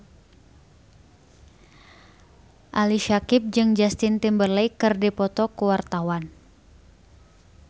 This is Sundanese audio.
Ali Syakieb jeung Justin Timberlake keur dipoto ku wartawan